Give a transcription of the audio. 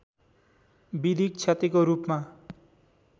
विधिक क्षतिको रूपमा